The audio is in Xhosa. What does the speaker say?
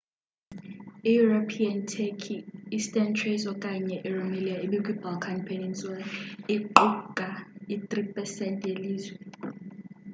i-european turkey eastern thrace okanye i-rumelia ekwi balkan peninsula iqukai 3% yelizwe